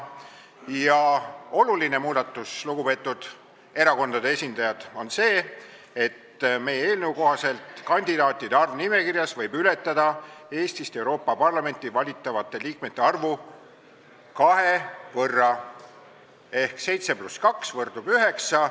Ja oluline muudatus, lugupeetud erakondade esindajad, on see, et meie eelnõu kohaselt võib kandidaatide arv nimekirjas ületada Eestist Euroopa Parlamenti valitavate liikmete arvu kahe võrra ehk seitse pluss kaks võrdub üheksa.